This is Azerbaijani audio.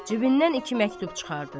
Cibindən iki məktub çıxardır.